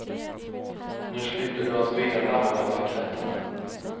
Nu slipper du att vela mellan blanketterna.